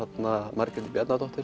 Margréti Bjarnadóttur